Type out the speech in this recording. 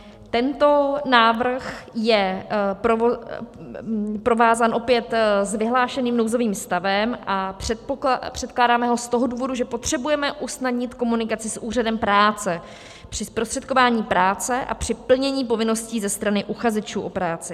Tento návrh je provázán opět s vyhlášeným nouzovým stavem a předkládáme ho z toho důvodu, že potřebujeme usnadnit komunikaci s Úřadem práce při zprostředkování práce a při plnění povinností ze strany uchazečů o práci.